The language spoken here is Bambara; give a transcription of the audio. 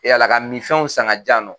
Ala ka mifɛnw san ka jiyan nɔ.